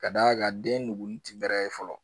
Ka d'a kan den nugu ti bɛrɛ ye fɔlɔ